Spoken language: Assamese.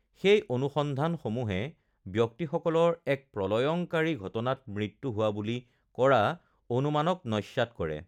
সেই অনুসন্ধানসমূহে ব্যক্তিসকলৰ এক প্ৰলয়ংকৰী ঘটনাত মৃত্যু হোৱা বুলি কৰা অনুমানক নস্যাৎ কৰে৷